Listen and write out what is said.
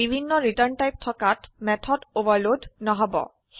বিভিন্ন return type থকাত method overload নহব